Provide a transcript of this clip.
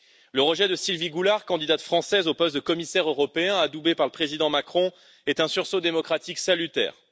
Le rejet de Sylvie Goulard, candidate française au poste de commissaire européen, adoubée par le président Macron, est un sursaut démocratique salutaire.